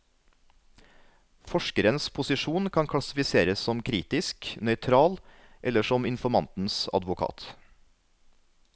Forskerens posisjon kan klassifiseres som kritisk, nøytral eller som informantens advokat.